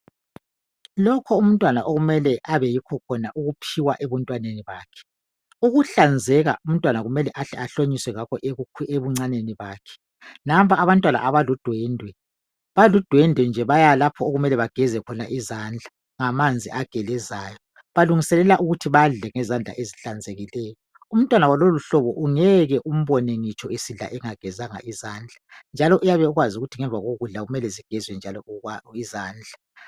Lokho umntwana okumele abeyikho khona ukuphiwa ebuntwaneni bakhe. Ukuhlanzeka umntwana kumele ahle ahlonyiswe ngakho ebuncaneni bakhe, nampa abantwana abaludwendwe baludwendwe nje bayalapho okumele bageze khona izandla ngamanzi agelezayo balungiselela ukuthi badle ngezandla ezihlanzekileyo umntwana walolo uhlobo ungeke umbone ngitsho esidla engagezanga izandla njalo uyabe ekwazi ukuthi ngemva kokudla kumele zigezwe njalo izandla.